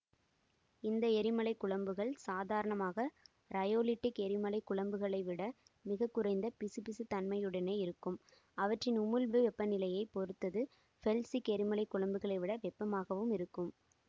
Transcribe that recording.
இந்த எரிமலைக்குழம்புகள் சாதாரணமாக ரையோலிட்டிக் எரிமலைக்குழம்பைவிட மிக குறைந்த பிசுபிசுப்புத் தன்மையுடனே இருக்கும் அவற்றின் உமிழ்வு வெப்பநிலையைப் பொறுத்த து ஃபெல்சிக் எரிமலை குழம்புகளைவிட வெப்பமாகவும் இருக்கும்